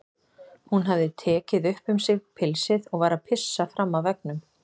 Hún hafði tekið upp um sig pilsið og var að pissa fram af veggnum.